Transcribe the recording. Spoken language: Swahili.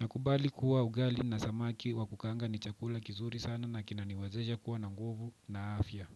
Nakubali kuwa ugali na samaki wa kukaanga ni chakula kizuri sana na kinaniwezesha kuwa na nguvu na afya.